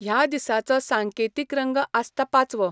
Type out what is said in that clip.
ह्या दिसाचो सांकेतीक रंग आसता पाचवो.